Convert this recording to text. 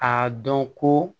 A dɔn ko